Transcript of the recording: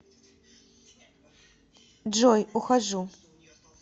джой ухожу